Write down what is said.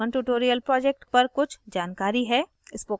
अब हमारे पास spokentutorial project पर कुछ जानकारी है